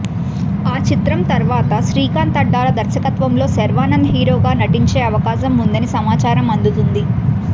ఆ చిత్రం తర్వాత శ్రీకాంత్ అడ్డాల దర్శకత్వంలో శర్వానంద్ హీరోగా నటించే అవకాశం ఉందని సమాచారం అందుతుంది